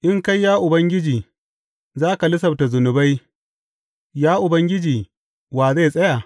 In kai, ya Ubangiji, za ka lissafta zunubai, Ya Ubangiji, wa zai tsaya?